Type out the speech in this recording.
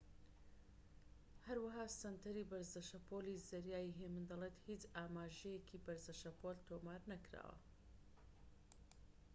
هەروەها سەنتەری بەرزە شەپۆلی زەریای هێمن دەڵێت هیچ ئاماژەیەکی بەرزە شەپۆل تۆمار نەکراوە